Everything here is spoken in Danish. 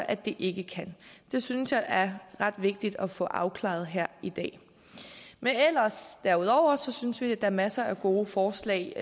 at det ikke kan det synes jeg er ret vigtigt at få afklaret her i dag men ellers derudover synes vi at er masser af gode forslag